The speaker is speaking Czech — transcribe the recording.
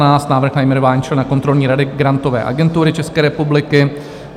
Návrh na jmenování člena kontrolní rady Grantové agentury České republiky